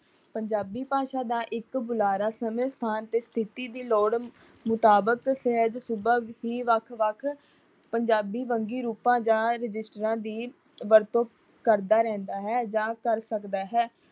ਪੰਜਾਬੀ ਭਾਸ਼ਾ ਦਾ ਇੱਕ ਬੁਲਾਰਾ ਸਮੇਂ ਸਥਾਨ ਤੇ ਸ਼ਥਿਤੀ ਦੀ ਲੋੜ ਮੁਤਾਬਿਕ ਸਹਿਜ ਸੁਭਾਅ ਹੀ ਵੱਖ-ਵੱਖ ਪੰਜਾਬੀ ਵੰਨਗੀ ਰੂਪਾਂ ਜਾਂ ਰਜਿਸਟਰਾਂ ਦੀ ਵਰਤੋਂ ਕਰਦਾ ਰਹਿੰਦਾ ਹੈ ਜਾਂ ਕਰ ਸਕਦਾ ਹੈ।